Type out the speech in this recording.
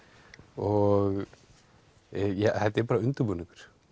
og þetta er bara undirbúningur